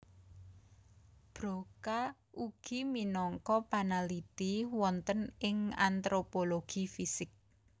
Broca ugi minangka panaliti wonten ing antropologi fisik